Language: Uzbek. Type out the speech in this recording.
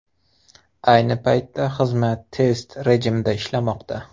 Ayni paytda xizmat test rejimida ishlamoqda.